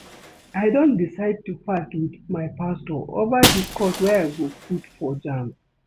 I don decide to fast with my pastor over the course I go put for jamb